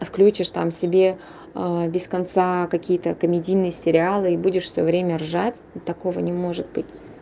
включишь там себе без конца какие-то комедийные сериалы будешь всё время ржать такого не может быть